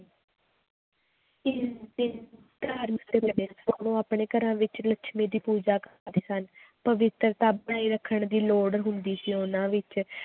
ਇਸ ਦਿਨ ਆਪਣੇ ਘਰਾਂ ਵਿੱਚ ਲੱਛਮੀ ਦੀ ਪੂਜਾ ਕਰਦੇ ਸਨ, ਪਵਿਤਰਤਾ ਬਣਾਈ ਰੱਖਣ ਦੀ ਲੋੜ ਹੁੰਦੀ ਸੀ ਉਹਨਾਂ ਵਿੱਚ